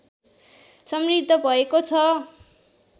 समृद्ध भएको छ